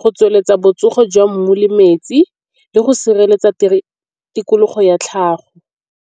go tsweletsa botsogo jwa mmu le metsi le go sireletsa tikologo ya tlhago.